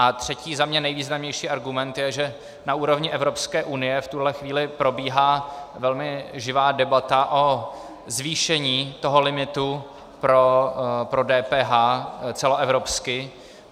A třetí, za mě nejvýznamnější argument je, že na úrovni Evropské unie v tuhle chvíli probíhá velmi živá debata o zvýšení toho limitu pro DPH celoevropsky.